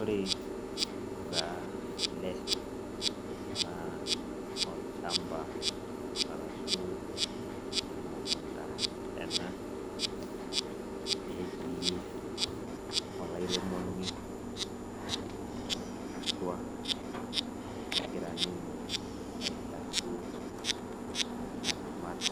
Ore taa ele na olchamba arashu emukunda ena netii olairemoni na atua egira ninye aitashe aramat